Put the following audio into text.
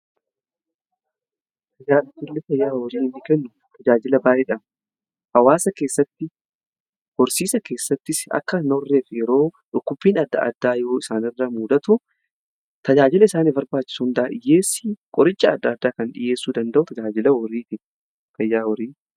Tajaajilla fayyaa horii inni kennu tajaajila baay'eedha hawaasa keessatti horsiisa keessattis akka hin horreef yeroo dhukkubiin adda addaa yoo isaanirra muudatu tajaajila isaniif barbaachisu hundaa dhiyyeessii qoricha adda addaa kan dhiyyeessuu danda'u tajaajila fayyaa horiiti.